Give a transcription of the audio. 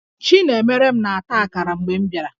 Chinemerem na-ata akara mgbe m bịara